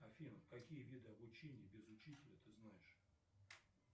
афина какие виды обучения без учителя ты знаешь